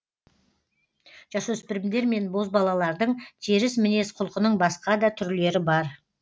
жасөспірімдер мен бозбалалардың теріс мінез құлқының басқа да түрлері бар